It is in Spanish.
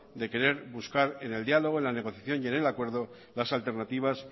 de querer buscar en el diálogo en la negociación y en el acuerdo las alternativas